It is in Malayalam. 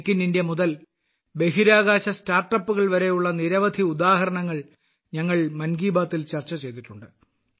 മേക്ക് ഇൻ ഇന്ത്യ മുതൽ ബഹിരാകാശ സ്റ്റാർട്ടപ്പുകൾ വരെയുള്ള നിരവധി ഉദാഹരണങ്ങൾ ഞങ്ങൾ മൻ കി ബാത്തിൽ ചർച്ച ചെയ്തിട്ടുണ്ട്